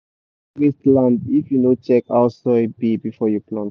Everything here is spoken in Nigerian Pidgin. you go just waste land if you no check how soil be before you plant.